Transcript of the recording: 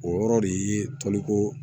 O yɔrɔ de ye toliko